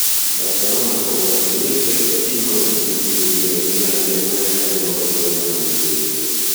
Barcelona kũgũra Philippe Coutinho na ciringi mirioni 142